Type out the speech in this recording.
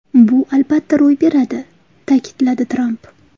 Bu albatta ro‘y beradi!” ta’kidladi Tramp.